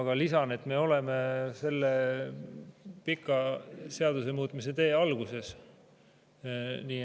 Aga lisan, et me oleme selle pika seadusemuutmise tee alguses.